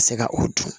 Ka se ka o dun